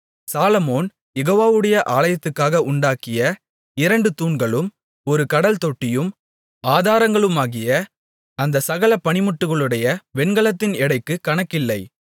சாலொமோன் யெகோவாவுடைய ஆலயத்துக்காக உண்டாக்கிய இரண்டு தூண்களும் ஒரு கடல்தொட்டியும் ஆதாரங்களுமாகிய அந்தச் சகல பணிமுட்டுகளுடைய வெண்கலத்தின் எடைக்கு கணக்கில்லை